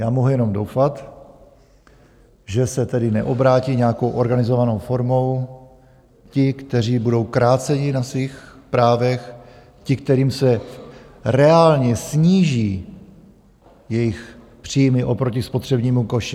Já mohu jenom doufat, že se tedy neobrátí nějakou organizovanou formou ti, kteří budou kráceni na svých právech, ti, kterým se reálně sníží jejich příjmy oproti spotřebnímu koši.